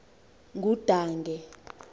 ngudange